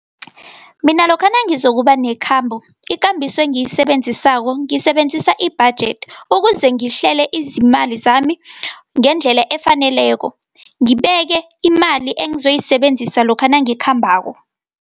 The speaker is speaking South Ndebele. Mina lokha nangizokuba nekhambo, ikambiso engiyisebenzisako ngisebenzisa i-budget, ukuze ngihlele izimali zami ngendlela efaneleko. Ngibeke imali engizoyisebenzisa lokha nangikhambako.